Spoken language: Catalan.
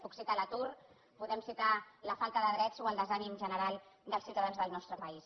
puc citar l’atur podem citar la falta de drets o el desànim general dels ciutadans del nostre país